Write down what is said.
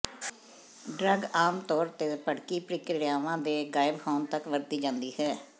drug ਆਮ ਤੌਰ ਤੇ ਭੜਕੀ ਪ੍ਰਕਿਰਿਆਵਾਂ ਦੇ ਗਾਇਬ ਹੋਣ ਤੱਕ ਵਰਤੀ ਜਾਂਦੀ ਹੈ